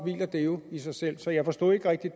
hviler det jo i sig selv så jeg forstod ikke rigtig